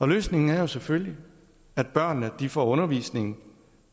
løsningen er selvfølgelig at børnene får undervisning